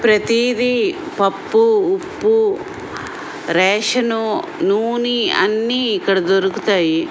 ప్రతిదీ పప్పు ఉప్పు రేషన్ నునె అన్ని ఇక్కడ దొరుకుతాయి.